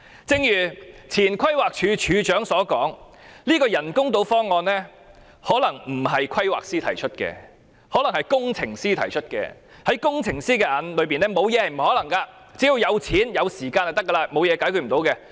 正如前規劃署署長推斷，這個人工島方案可能不是由規劃師提出，而是由工程師提出的；在工程師眼中，只要有錢、有時間，沒有事情不能解決。